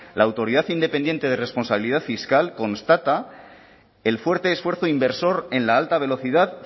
la autoridad independiente de responsabilidad fiscal constata el fuerte esfuerzo inversor en la alta velocidad